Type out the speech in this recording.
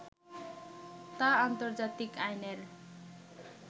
তা আন্তর্জাতিক আইনের